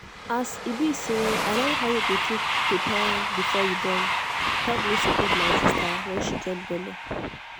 as e be say i learn how you go take prepare before you borne help me support my sister when she get belle.